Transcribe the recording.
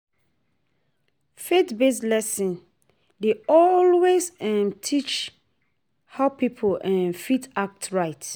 Faith based lesson dey always um teach how pipo um fit act right